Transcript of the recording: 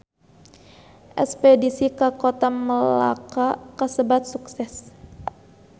Espedisi ka Kota Melaka kasebat sukses